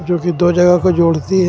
जो कि दो जगह को जोड़ती है.